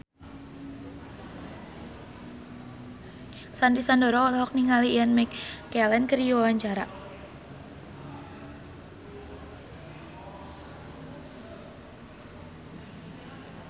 Sandy Sandoro olohok ningali Ian McKellen keur diwawancara